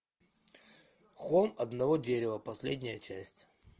холм одного дерева последняя часть